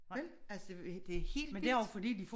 Vel? altså det er helt vildt